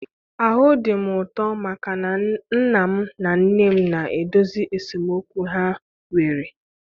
Ahụ dị m ụtọ maka na nna m na nne m na-edozi esemokwu ha nwere